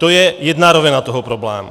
To je jedna rovina toho problému.